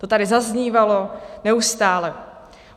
To tady zaznívalo neustále.